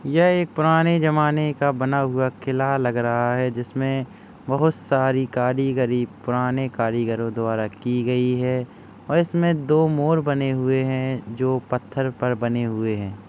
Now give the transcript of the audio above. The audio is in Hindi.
यह एक पुराने जमाने का बना हुआ किला लग रहा है जिसमें बहुत सारी कारीगरी पुराने कारीगरों द्वारा की गई है और इसमें दो मोर बने हुए हैं। जो पत्थर पर बने हुए हैं।